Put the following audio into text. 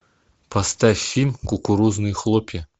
поставь фильм кукурузные хлопья